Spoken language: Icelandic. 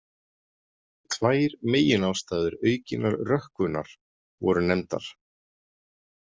Tvær meginástæður aukinnar rökkvunar voru nefndar.